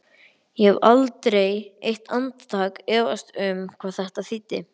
Ég hef aldrei eitt andartak efast um hvað þetta þýddi